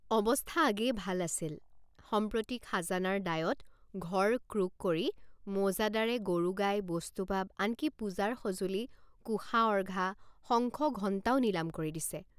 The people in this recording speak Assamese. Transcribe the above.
অৱস্থা আগেয়ে ভাল আছিল সম্প্ৰতি খাজানাৰ দায়ত ঘৰ ক্ৰোক কৰি মৌজাদাৰে গৰু গাই বস্তু বাব আনকি পূজাৰ সঁজুলি কোষা অৰ্ঘা শঙ্খ ঘণ্টাও নিলাম কৰি নিছে।